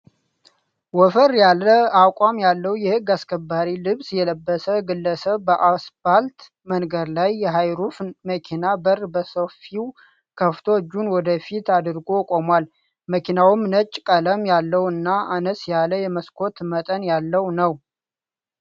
ወፈር ያለ አቋም ያለው የህግ አስከባሪ ልብስ የለበሰ ግለሰብ በአስፓልት መንገድ ላይ የሃይሩፍ መኪና በር በሰፊው ከፍቶ እጁን ወደፊት አድርጎ ቆሟል። መኪናዉም ነጭ ቀለም ያለው እና አነስ ያለ የመስኮት መጠን ያለው ነው።